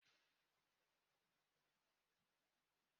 O le ebe akwa gi di?